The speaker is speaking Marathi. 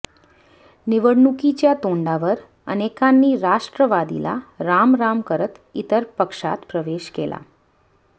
निवडणुकीच्या तोंडावर अनेकांनी राष्ट्रवादीला रामराम करत इतर पक्षात प्रवेश केला